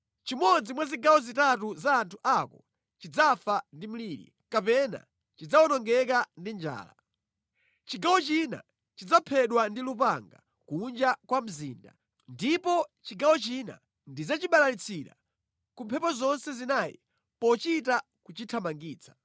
Chimodzi mwa zigawo zitatu za anthu ako chidzafa ndi mliri, kapena chidzawonongeka ndi njala; chigawo china chidzaphedwa ndi lupanga kunja kwa mzinda, ndipo chigawo china ndidzachibalalitsira ku mphepo zonse zinayi pochita kuchithamangitsa.